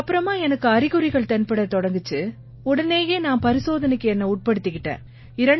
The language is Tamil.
இதுக்கு அப்புறமா எனக்கு அறிகுறிகள் தென்படத் தொடங்கின உடனேயே நான் பரிசோதனைக்கு என்னை உட்படுத்திக்கிட்டேன்